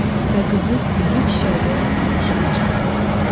Və qızı güllü çiçəkli ağuşuna çağırırdı.